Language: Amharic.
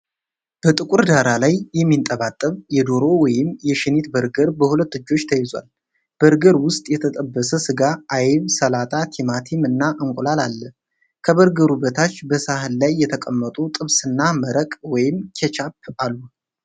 በጥቁር ዳራ ላይ የሚንጠባጠብ የዶሮ ወይም የሽኒት በርገር በሁለት እጆች ተይዟል። በርገር ውስጥ የተጠበሰ ስጋ፣ አይብ፣ ሰላጣ፣ ቲማቲም እና እንቁላል አለ። ከበርገሩ በታች በሳህን ላይ የተቀመጡ ጥብስና መረቅ (ኬችአፕ) አሉ።